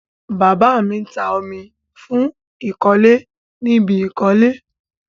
Bàbá mi ń ta omi fún ìkọ́lé ni ibi ìkọ́lé.